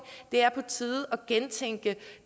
det er på tide at gentænke